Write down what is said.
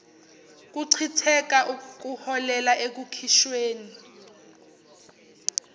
kuchitheka kuholela ekukhishweni